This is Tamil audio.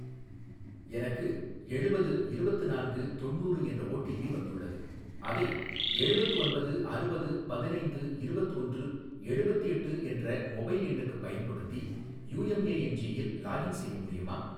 எனக்கு எழுபது இருபத்து நான்கு தொண்ணூறு என்ற ஓடிபி வந்துள்ளது அதை எழுபத்து ஒன்பது அறுபது பதினைந்து இருபத்து ஒன்று எழுபத்தெட்டு என்ற மொபைல் எண்ணுக்குப் பயன்படுத்தி யூஎம்ஏஎன்ஜியில் லாகின் செய்ய முடியுமா?